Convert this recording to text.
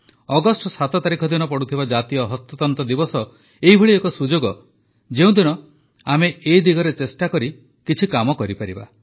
August ୭ ତାରିଖ ଦିନ ପଡ଼ୁଥିବା ଜାତୀୟ ହସ୍ତତନ୍ତ ଦିବସ ଏଭଳି ଏକ ସୁଯୋଗ ଯେଉଁଦିନ ଆମେ ଏ ଦିଗରେ ଚେଷ୍ଟା କରି କାମ କରିପାରିବା